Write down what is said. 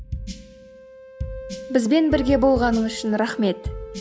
бізбен бірге болғаныңыз үшін рахмет